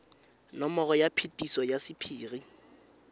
nomoro ya phetiso ya sephiri